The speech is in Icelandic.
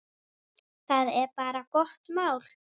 Það er bara gott mál.